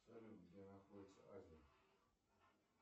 салют где находится азия